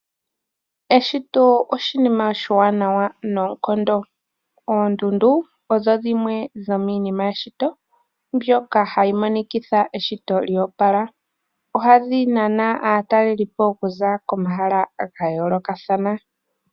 Eshito oshinima oshiwanawa noonkondo. Oondundu odho dhimwe dhomiinima yeshito mbyoka hayi monikitha eshito lyoopala, ohadhi nana aatalelipo okuza komahala ga yoolokathana.